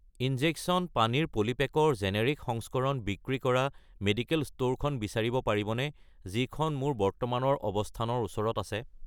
injection পানীৰ polypack ৰ generic সংস্কৰণ বিক্ৰী কৰা মেডিকেল ষ্ট'ৰখন বিচাৰিব পাৰিবনে যিখন মোৰ বৰ্তমানৰ অৱস্থানৰ ওচৰত আছে